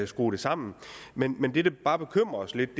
skrue det sammen men det der bare bekymrer os lidt